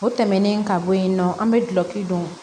O tɛmɛnen ka bɔ yen nɔ an bɛ dulɔki don